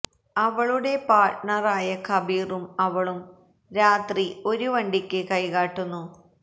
അവളുടെ പാർട്ണർ ആയ കബീറും അവളും രാത്രി ഒരു വണ്ടിക്ക് കൈകാട്ടുന്നു